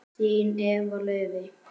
Þín Eva Laufey.